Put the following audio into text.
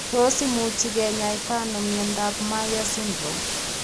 Tos imuchi kinyaita ano miondop Myhre syndrome